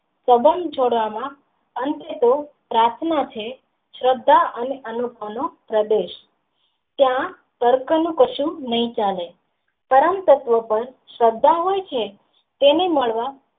પદમ જોડા માં અંતે તો પ્રાર્થના છે શ્રદ્ધા અને પ્રદેશ ત્યાં દર કનુ કશુજ નહિ ચાલે કારણ તત્વો પણ શ્રદ્ધા હોય છે તેને મળવા.